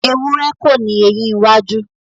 Ewurẹ́ kò ni eyín iwájú